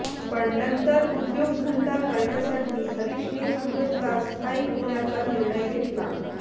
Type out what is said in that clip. पण नंतर उद्योगधंदा करण्यासाठी हरीशने सूरतला स्थायिक होण्याचा निर्णय घेतला